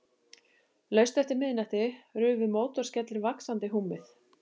Laust eftir miðnætti rufu mótorskellir vaxandi húmið.